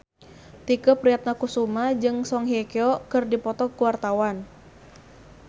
Tike Priatnakusuma jeung Song Hye Kyo keur dipoto ku wartawan